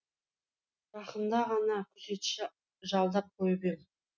жақында ғана күзетші жалдап қойып ем